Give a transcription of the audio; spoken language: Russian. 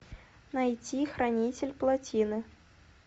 найти хранитель плотины